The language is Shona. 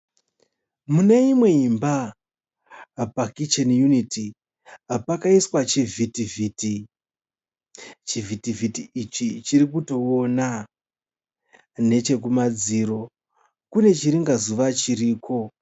Mune imwe imba pakicheni yuniti pakaiswa chivhitivhiti. Chivhitivhiti ichi chiri kutoona. Nechekumadziro kune chiringazuva chiriko.